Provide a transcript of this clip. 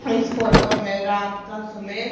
इस फोटो में रात का समय--